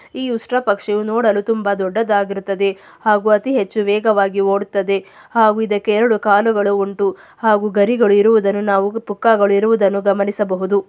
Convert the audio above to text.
ಈ ಉಷ್ಟ್ರ ಪಕ್ಷಿಯು ನೋಡಲು ತುಂಬಾ ದೊಡ್ಡದಾಗಿರುತ್ತದೆ. ಹಾಗು ಅತೀ ಹೆಚ್ಚು ವೇಗವಾಗಿ ಓಡ್ತದೆ. ಹಾಗು ಇದಕ್ಕೆ ಎಆರ್ಡ್ಯೂ ಕಾಲುಗಳು ಉಂಟು. ಹಾಗು ಗರಿಗಳು ಇರುದನು ನಾವು ಪುಕ್ಕಗಳು ಇರುವುದನ್ನು ಗಮನಿಸಬಹುದು.